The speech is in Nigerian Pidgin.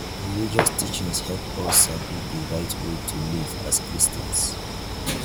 religious teachings help us sabi di right way to live as christians